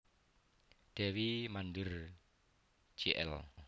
Dewi Mandhir Jl